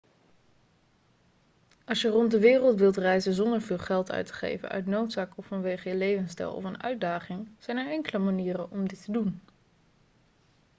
als je rond de wereld wilt reizen zonder veel geld uit te geven uit noodzaak of vanwege je levensstijl of een uitdaging zijn er enkele manieren om dit te doen